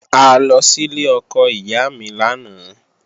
A lọ sílé ọkọ ìyá mi lánàá